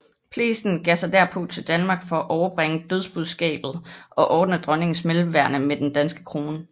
Plessen begav sig derpå til Danmark for at overbringe dødsbudskabet og ordne dronningens mellemværende med den danske krone